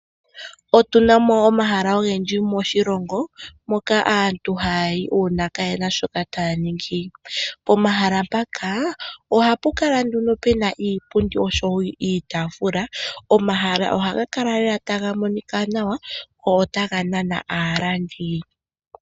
Otu na mo omahala ogendji moshilongo mpoka aantu ha ya yi uuna ka ye na shoka taya ningi. Pomahala mpaka ohapu kala nduno pu na iipundi niitaafula, omahala ohaga kala lela ta ga monika nawa, go otaga nana aalandi.